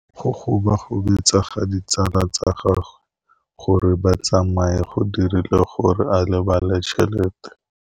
Go gobagobetsa ga ditsala tsa gagwe, gore ba tsamaye go dirile gore a lebale tšhelete.